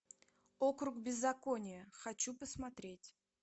округ беззакония хочу посмотреть